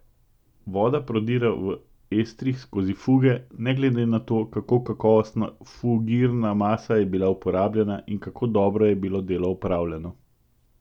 Voda prodira v estrih skozi fuge, ne glede na to, kako kakovostna fugirna masa je bila uporabljena in kako dobro je bilo delo opravljeno.